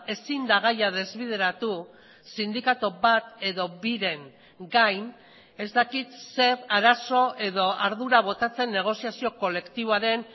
ezin da gaia desbideratu sindikatu bat edo biren gain ez dakit zer arazo edo ardura botatzen negoziazio kolektiboaren